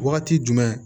Wagati jumɛn